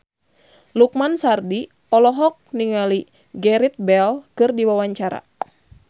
Lukman Sardi olohok ningali Gareth Bale keur diwawancara